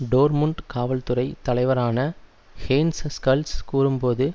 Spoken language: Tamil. டோர்ட்முண்ட் காவல்துறை தலைவரான ஹேன்ஸ் ஸ்கல்ஸ் கூறும்போது